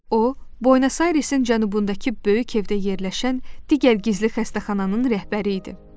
O, Buenos Airesin cənubundakı böyük evdə yerləşən digər gizli xəstəxananın rəhbəri idi.